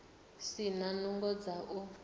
si na nungo dza u